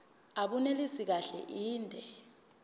abunelisi kahle inde